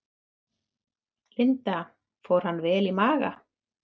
Linda: Fór hann vel í maga?